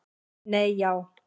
Nei já.